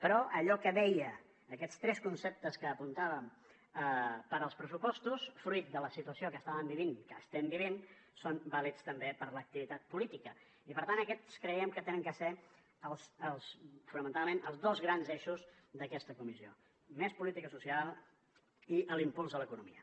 però allò que deia aquests tres conceptes que apuntàvem per als pressupostos fruit de la situació que estàvem vivint que estem vivint són vàlids també per a l’activitat política i per tant aquests creiem que han de ser fonamentalment els dos grans eixos d’aquesta comissió més política social i l’impuls de l’economia